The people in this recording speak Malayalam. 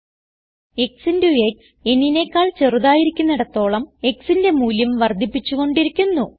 x ഇന്റോ x n നെക്കാൾ ചെറുതായിരിക്കുന്നിടത്തോളം xന്റെ മൂല്യം വർദ്ധിപ്പിച്ചു കൊണ്ടിരിക്കുന്നു